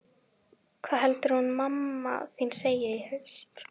Hvað heldurðu að hún mamma þín segi í haust?